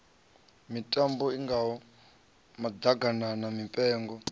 mitambo i ngaho maḓaganana mipengo